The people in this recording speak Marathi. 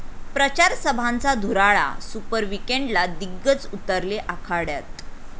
प्रचारसभांचा धुराळा, सुपर विकेंडला दिग्गज उतरले आखाड्यात